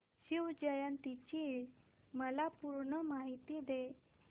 शिवजयंती ची मला पूर्ण माहिती दे